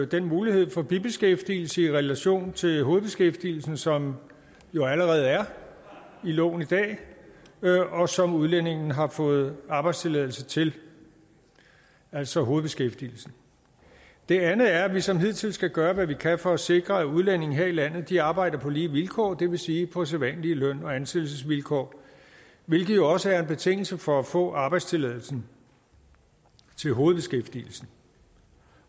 den mulighed for bibeskæftigelse i relation til hovedbeskæftigelsen som jo allerede er i loven i dag og som udlændingen har fået arbejdstilladelse til altså hovedbeskæftigelsen det andet er at vi som hidtil skal gøre hvad vi kan for at sikre at udlændinge her i landet arbejder på lige vilkår det vil sige på sædvanlige løn og ansættelsesvilkår hvilket jo også er en betingelse for at få arbejdstilladelsen til hovedbeskæftigelsen